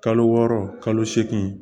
Kalo wɔɔrɔ kalo seegin